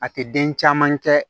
A tɛ den caman kɛ